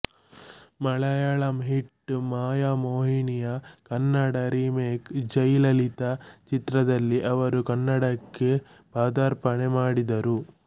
Malayalam hit ಮಾಯಮೋಹಿಣಿಯ Kannada remake Jai Lalitha ಚಿತ್ರದಲ್ಲಿ ಅವರು ಕನ್ನಡಕ್ಕೆ ಪಾದಾರ್ಪಣೆ ಮಾಡಿದರು